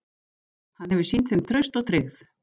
Hann hefur sýnt þeim traust og tryggð.